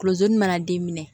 Kulonni mana den minɛ